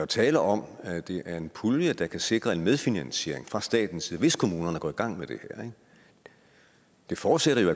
tale om at det er en pulje der kan sikre en medfinansiering fra statens side hvis kommunerne går i gang med det her det forudsætter jo